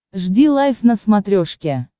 жди лайв на смотрешке